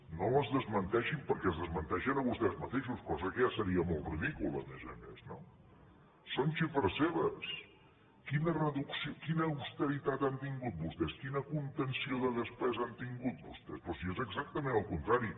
no les desmenteixin perquè es desmenteixen vostès mateixos cosa que ja seria molt ridícula a més a més no són xifres seves quina austeritat han tingut vostès quina contenció de despesa han tingut vostès però si és exactament el contrari